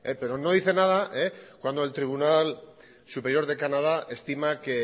pero no dice nada cuando el tribunal superior de canadá estima que